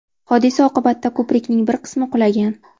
Hodisa oqibatida ko‘prikning bir qismi qulagan.